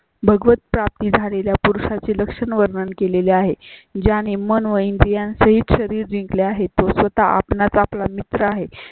भगवत्प्राप्ती झालेल्या पुरुषा ची लक्षण वर्णन केलेले आहे. ज्या ने मन व इंद्रियांसहित शरीर जिंकले आहे तो स्वतः आपणास आपला मित्र आहे